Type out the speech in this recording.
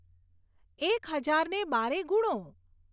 એક હજારને બારે ગુણો